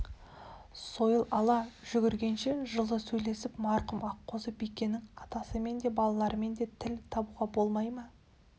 сойыл ала жүгіргенше жылы сөйлесіп марқұм аққозы бикенің атасымен де балаларымен де тіл табуға болмай ма